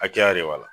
Hakɛya de b'a la